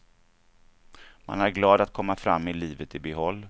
Man är glad att komma fram med livet i behåll.